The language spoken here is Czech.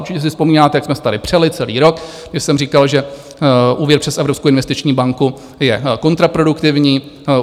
Určitě si vzpomínáte, jak jsme se tady přeli celý rok, když jsem říkal, že úvěr přes Evropskou investiční banku je kontraproduktivní.